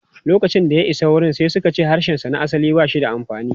Lokacin da ya isa wurin, sai suka ce harshensa na asali ba shi da amfani.